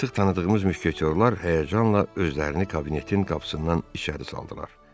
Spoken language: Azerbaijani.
Artıq tanıdığımız müşketiyorlar həyəcanla özlərini kabinetin qapısından içəri saldılar.